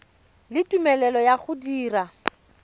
le tumelelo ya go dira